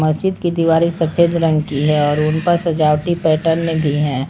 मस्जिद की दीवारें सफेद रंग की है और उन पर सजावटी पैटर्न भी हैं।